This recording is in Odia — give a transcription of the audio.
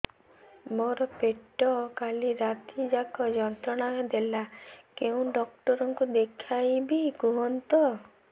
ମୋର ପେଟ କାଲି ରାତି ଯାକ ଯନ୍ତ୍ରଣା ଦେଲା କେଉଁ ଡକ୍ଟର ଙ୍କୁ ଦେଖାଇବି କୁହନ୍ତ